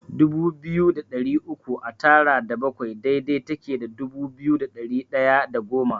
Dubu biyu da ɗari uku a tara da bakwai daidai take da dubu biyu da ɗari ɗaya da goma.